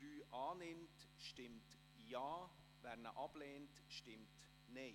Wer diese annimmt, stimmt Ja, wer diese ablehnt, stimmt Nein.